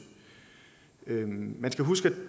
man skal huske at